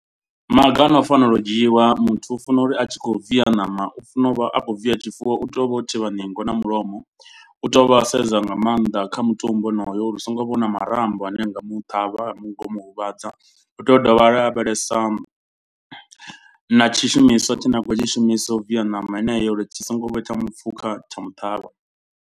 Maga ano fanela u dzhiwa muthu u funa uri a tshi khou via ṋama u funa u vha a khou via tshifuwo. U tea u vha o thivha ningo na mulomo. U tea u vha sedza nga maanḓa kha mutumbu wonoyo uri u so ngo vha u na marambo ane nga muṱhavha mu ngomu huvhadza. U tea u dovha a lavhelesa na tshishumiswa tshine a khou tshi shumisa u via ṋama yeneyo uri tshi songo vha tsha mu pfukha tsha muṱhavha.